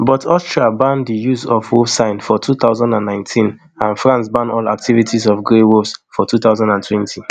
but austria ban di use of wolf sign for two thousand and nineteen and france ban all activities of grey wolves for two thousand and twenty